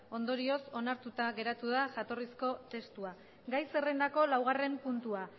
ondorioz onartuta geratu da jatorrizko testua gai zerrendako laugarren puntua